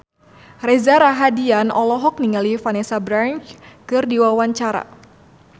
Reza Rahardian olohok ningali Vanessa Branch keur diwawancara